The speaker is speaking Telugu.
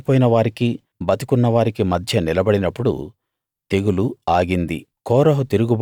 అతడు చనిపోయిన వారికీ బతికున్న వారికీ మధ్య నిలబడినప్పుడు తెగులు ఆగింది